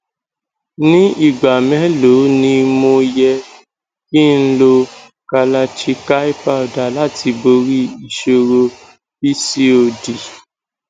ní igba mélòó ni mo yẹ kí n lo kalachikai powder láti bori ìṣòro pcod